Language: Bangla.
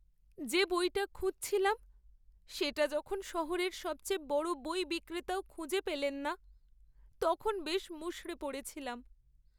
যে বইটা খুঁজছিলাম, সেটা যখন শহরের সবচেয়ে বড় বই বিক্রেতাও খুঁজে পেলেন না, তখন বেশ মুষড়ে পড়েছিলাম।